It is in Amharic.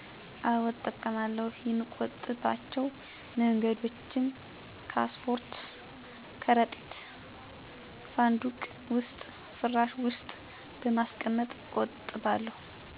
አወ እጠቀማለሁ የሚቆጠብ ባቸው መንገዶችም ካሳፖርት፣ ከረጢት፣ ሳንዱቅ ዉስጥ፣ ፍራሽ ዉስጥ በማስቀመጥ እቆጥባለሁ።